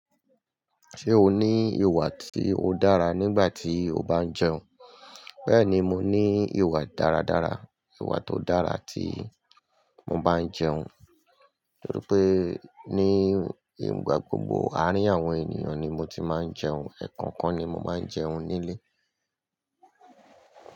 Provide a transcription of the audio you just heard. Ṣé o ní ìwà tí ó dára nígbà tí o bá ń jẹun? Bẹ́ẹ̀ni, mo ní ìwà dáradára, ìwà tó dára tí mo bá ń jẹun. Nítorí pé ní gbogbo arín àwọn ènìyàn ni mo ti máa ń jẹun, ẹ̀ẹ̀kan kan ni mo máa ń jẹun nílé.